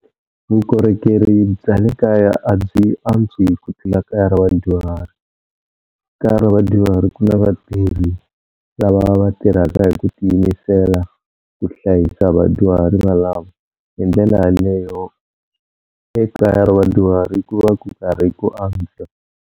Vukorhokeri bya le kaya a byi antswi ku tlula kaya ra vadyuhari. Kaya ra vadyuhari ku na vatirhi lava va tirhaka hi ku tiyimisela ku hlayisa vadyuhari valava hi ndlela yaleyo ekaya ra vadyuhari ku va ku karhi ku antswa.